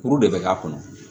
Kuru de bɛ k'a kɔnɔ